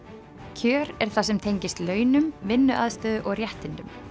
kjör er það sem tengist launum vinnuaðstöðu og réttindum